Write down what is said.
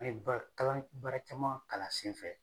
An ye baara baara caman kalan a sen fɛ.